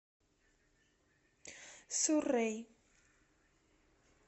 суррей